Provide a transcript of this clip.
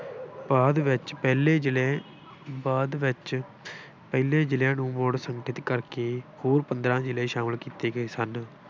ਬਾਅਦ ਵਿੱਚ ਪਹਿਲੇ ਜਿਲ੍ਹੇ, ਬਾਅਦ ਵਿੱਚ ਪਹਿਲੇ ਜਿਲ੍ਹਿਆਂ ਨੂੰ ਮੁੜ ਸਥਗਿਤ ਕਰਕੇ ਹੋਰ ਪੰਦਰਾਂ ਜਿਲ੍ਹੇ ਸ਼ਾਮਿਲ ਕੀਤੇ ਗਏ ਸਨ।